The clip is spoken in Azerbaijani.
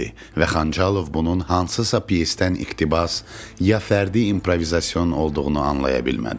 Və Xançalov bunun hansısa pyesdən iqtibas, ya fərdi improvizasiya olduğunu anlaya bilmədi.